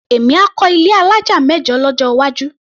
Èmi á kọ́ ilé alájà mẹ́jọ lọ́jọ́ iwájú.